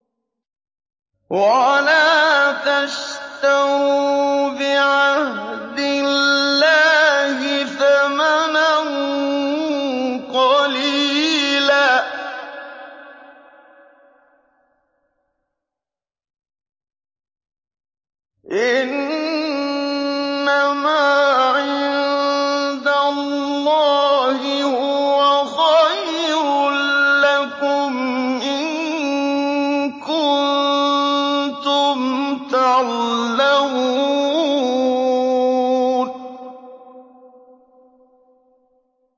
وَلَا تَشْتَرُوا بِعَهْدِ اللَّهِ ثَمَنًا قَلِيلًا ۚ إِنَّمَا عِندَ اللَّهِ هُوَ خَيْرٌ لَّكُمْ إِن كُنتُمْ تَعْلَمُونَ